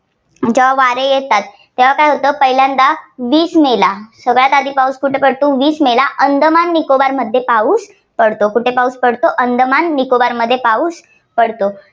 ज्या वारे येतात तेव्हा काय होतं पहिल्यांदा वीस मेला सगळ्यात आधी पाऊस कुठे पडतो वीस मेला अंदमान निकोबारमध्ये पाऊस पडतो. कुठे पाऊस पडतो अंदमान निकोबारमध्ये पाऊस पडतो.